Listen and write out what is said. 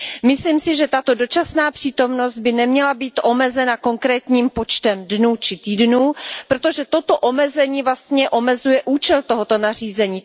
Myslím si, že tato dočasná přítomnost by neměla být omezena konkrétním počtem dnů či týdnů, protože toto omezení omezuje vlastně účel tohoto nařízení.